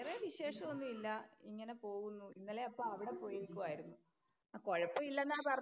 വേറെ വിശേഷം ഒന്നുമില്ല ഇങ്ങനെ പോകുന്നു. ഇന്നലെ അപ്പോ അവിടെ പോയേക്കുവായിരുന്നു. കൊഴപ്പം ഇല്ലെന്നാ പറഞ്ഞേ.